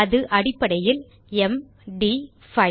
அது அடிப்படையில் mட் 5